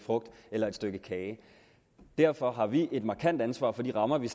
frugt eller et stykke kage derfor har vi et markant ansvar for de rammer vi